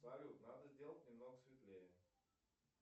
салют надо сделать немного светлее